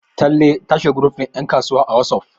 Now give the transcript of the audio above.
talle ta shiga group din yankasuwa a wasof